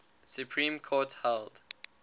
supreme court held